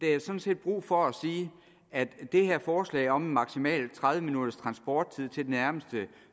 er sådan set brug for at sige at det her forslag om maksimalt tredive minutters transporttid til nærmeste